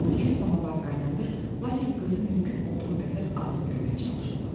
Onun üçün samavar qaynadırdı, lakin qızı mümkün olduğu qədər az-az görməyə çalışırdım.